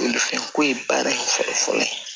fɛn ko ye baara in fɔlɔ fɔlɔ ye